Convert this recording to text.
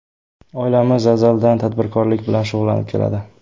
Oilamiz azaldan tadbirkorlik bilan shug‘ullanib keladi.